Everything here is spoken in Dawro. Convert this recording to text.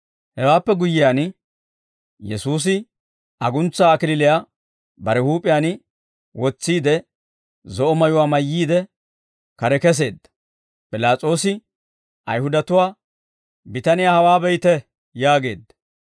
Hewaappe guyyiyaan, Yesuusi aguntsaa kalachchaa bare huup'iyaan wotsiide, zo'o mayuwaa mayyiide, kare kesseedda; P'ilaas'oosi Ayihudatuwaa, «Bitaniyaa hawaa be'ite» yaageedda.